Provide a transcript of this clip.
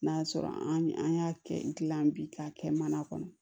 N'a sɔrɔ an y'a kɛ n kila bi k'a kɛ mana kɔnɔ